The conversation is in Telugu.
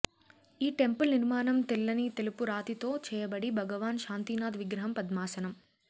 ఈ టెంపుల్ నిర్మాణం తెల్లని తెలుపు రాతి తో చేయబడి భగవాన్ శాంతినాథ్ విగ్రహం పద్మాసనం